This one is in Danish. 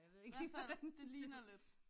I hvert fald det ligner lidt